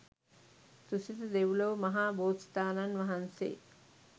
තුසිත දෙව්ලොව මහා බෝසතාණන් වහන්සේ